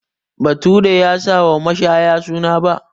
Bature ya sa wa mashaya suna 'Ba'